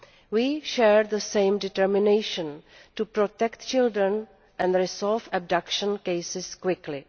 We share the same determination to protect children and resolve abduction cases quickly.